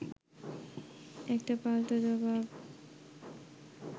একটা পাল্টা জবাব